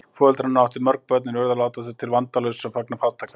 Foreldrar hennar áttu mörg börn en urðu að láta þau til vandalausra vegna fátæktar.